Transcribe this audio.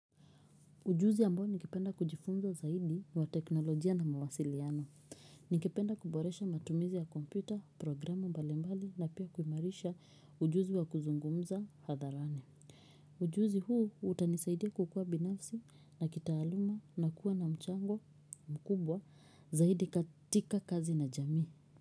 Ujuzi ambao ningependa kujifunza zaidi wa teknolojia na mawasiliano. Nikipenda kuboresha matumizi ya kompita, programu mbali mbali na pia kuimarisha ujuzi wa kuzungumza hadharani. Ujuzi huu utanisaidia kukuwa binafsi na kitaaluma na kuwa na mchango mkubwa zaidi katika kazi ya jamii.